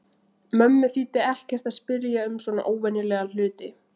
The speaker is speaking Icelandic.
Mömmu þýddi ekkert að spyrja um svona óvenjulega hluti.